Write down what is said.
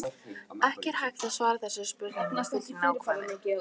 Ekki er hægt að svara þessari spurningu með fullri nákvæmni.